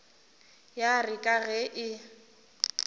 ya re ka ge e